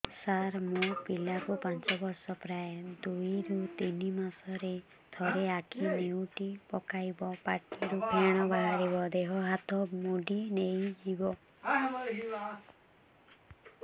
ସାର ମୋ ପିଲା କୁ ପାଞ୍ଚ ବର୍ଷ ପ୍ରାୟ ଦୁଇରୁ ତିନି ମାସ ରେ ଥରେ ଆଖି ନେଉଟି ପକାଇବ ପାଟିରୁ ଫେଣ ବାହାରିବ ଦେହ ହାତ ମୋଡି ନେଇଯିବ